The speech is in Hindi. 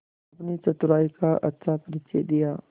अपनी चतुराई का अच्छा परिचय दिया